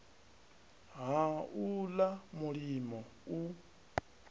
ha u ḽa mulimo u